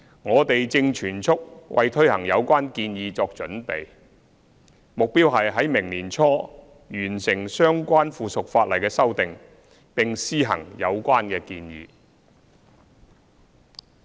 我們正全速為推行有關建議作準備，目標是於明年年初完成相關附屬法例的修訂，以便施行有關建議。